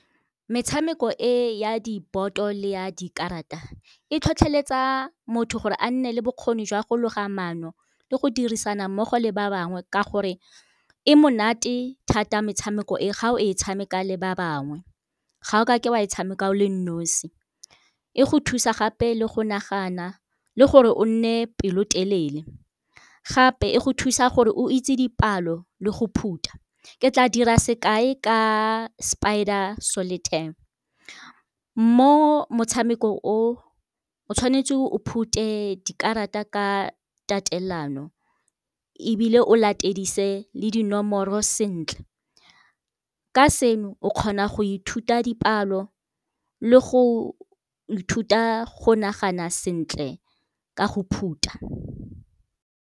Metshameko e ya diboto le ya dikarata e tlhotlholetsa motho gore a nne le bokgoni jwa go loga maano le go dirisana mmogo le ba bangwe. Ka gore e monate thata metshameko e ga o e tshameka le ba bangwe, ga o kake wa e tshameka o le nosi. E go thusa gape le go nagana le gore o nne pelo telele, gape e go thusa gore o itse dipalo le go phuta. Ke tla dira sekai ka Spider Solitaire, mo motshameko o o tshwanetse o phute dikarata ka tatelano ebile o latedise le dinomoro sentle, ka seno o kgona go ithuta dipalo le go ithuta go nagana sentle ka go phuta.